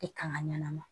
I kan ka ɲanama